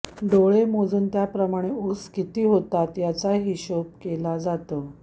डोळे मोजून त्याप्रमाणे ऊस किती होतात याचा हिशेब केला जातो